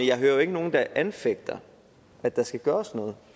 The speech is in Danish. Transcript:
jeg hører jo ikke nogen der anfægter at der skal gøres noget